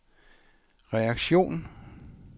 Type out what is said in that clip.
reaktion